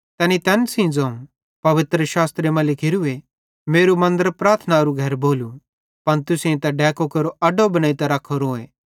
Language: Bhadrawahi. तैनी तैन सेइं ज़ोवं पवित्रशास्त्रे मां लिखोरूए मेरू मन्दर प्रार्थनारू घर भोलू पन तुसेईं त डैकू केरो अड्डो बनेइतां रख्खोरोए